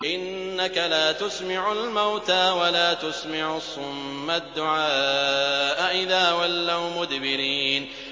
إِنَّكَ لَا تُسْمِعُ الْمَوْتَىٰ وَلَا تُسْمِعُ الصُّمَّ الدُّعَاءَ إِذَا وَلَّوْا مُدْبِرِينَ